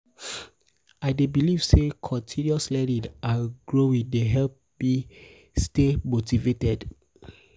i dey believe say continous learning and growing dey help me help me stay motivated.